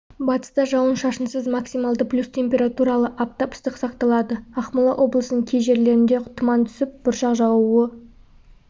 батыста жауын-шашынсыз максималды плюс температуралы аптап ыстық сақталады ақмола облысының кей жерлерінде тұман түсіп бұршақ жаууы